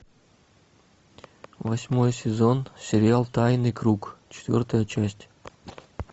восьмой сезон сериал тайный круг четвертая часть